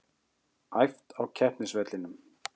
Æft á keppnisvellinum